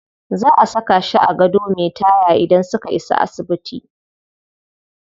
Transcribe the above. Za a saka shi a gado me taya idan suka isa asibiti.